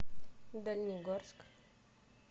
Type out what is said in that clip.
дальнегорск